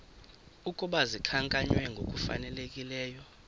ukuba zikhankanywe ngokufanelekileyo